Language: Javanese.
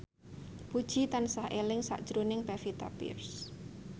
Puji tansah eling sakjroning Pevita Pearce